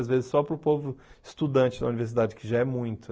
Às vezes só para o povo estudante da universidade, que já é muito.